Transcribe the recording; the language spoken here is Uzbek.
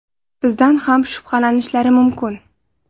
Bizdan ham shubhalanishlari mumkin.